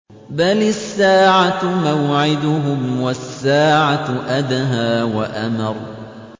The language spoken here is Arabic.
بَلِ السَّاعَةُ مَوْعِدُهُمْ وَالسَّاعَةُ أَدْهَىٰ وَأَمَرُّ